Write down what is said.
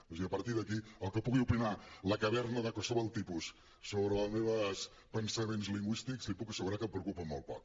o sigui a partir d’aquí el que pugui opinar la caverna de qualsevol tipus sobre els meus pensaments lingüístics li puc assegurar que em preocupa molt poc